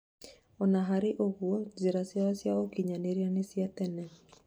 ona harĩ ũguo njĩra ciao cia ũkinyanĩria nĩ cia tene